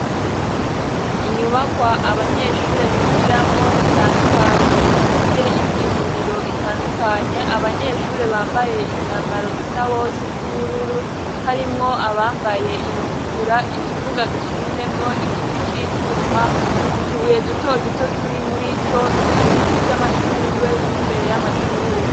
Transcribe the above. inyubakwa abanyeshure bigiramwo zitandukanye zifise inyinjiriro itandukanye abanyeshure bambaye imyambaro isawosi n'ubururu harimwo abambaye iyitukura ikibuga gishinzemwo igiti c'icuma utubuye duto duto turi muri co ibiti vy'amashugwe biri mbere y'amashure